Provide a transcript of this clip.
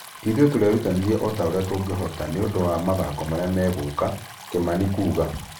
Ithuĩ tũrerutanĩria o ũria tũngĩhota kwĩharĩria nĩũndũ wa mathako marĩa megũka." Kimani kuga.